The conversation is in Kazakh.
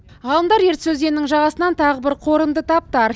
ғалымдар ертіс өзенінің жағасынан тағы бір қорымды тапты